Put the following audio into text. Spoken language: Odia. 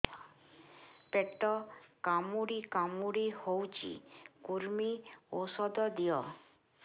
ପେଟ କାମୁଡି କାମୁଡି ହଉଚି କୂର୍ମୀ ଔଷଧ ଦିଅ